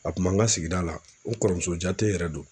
A kun b'an ka sigida la, n kɔrɔmusojate yɛrɛ don.